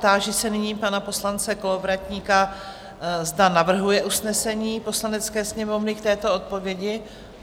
Táži se nyní pana poslance Kolovratníka, zda navrhuje usnesení Poslanecké sněmovny k této odpovědi?